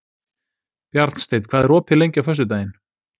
Bjarnsteinn, hvað er opið lengi á föstudaginn?